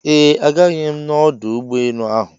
Eeh, agaghị m na ọdụ ụgbọ enu ahụ